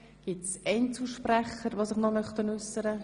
Möchten sich Einzelsprechende äussern?